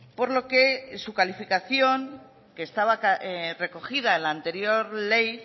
por lo que su calificación que estaba recogida en la anterior ley